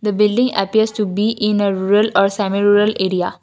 the building appears to be in a rural or semi rural area.